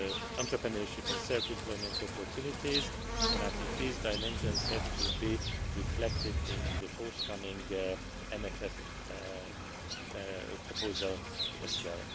entrepreneurship and self employment opportunities, and I think these dimensions have to be reflected in the forthcoming MFF proposal as well.